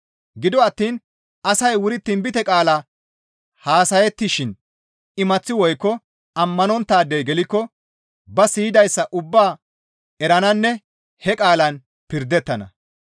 Gido attiin asay wuri tinbite qaala haasayettishin imaththi woykko ammanonttaadey gelikko ba siyidayssa ubbaa erananne he qaalan pirdettana.